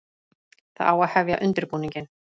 Það á að hefja undirbúninginn.